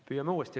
Püüame uuesti.